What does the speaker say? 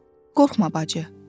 Qorxma bacı.